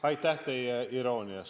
Aitäh teile iroonia eest!